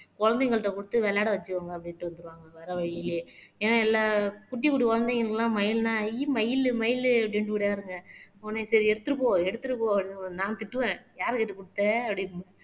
குழந்தைங்கள்ட்ட குடுத்து விளையாட வச்சுக்கோங்க அப்படின்னுட்டு வந்து வர வழியிலே ஏன்னா எல்லா குட்டி குட்டி குழந்தைங்களுக்கு எல்லாம் மயில் எல்லாம் ஐ மயிலு மயில் ஓடியாருங்க உடனே சரி எடுத்துட்டு போ எடுத்துட்டு போ அப்படின்னு நான் திட்டுவேன் யாரைக் கேட்டு குடுத்த அப்படின்னு